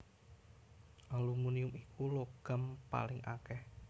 Aluminium iku logam paling akèh